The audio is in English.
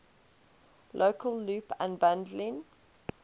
local loop unbundling